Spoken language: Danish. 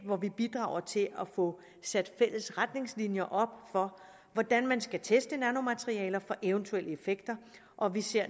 hvor vi bidrager til at få sat fælles retningslinjer op for hvordan man skal teste nanomaterialer for eventuelle effekter og vi ser